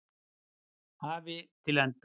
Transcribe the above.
hafi til enda.